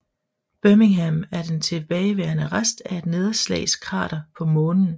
Birmingham er den tilbageværende rest af et nedslagskrater på Månen